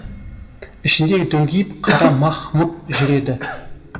ішінде дөңкиіп қара мах мұт жүреді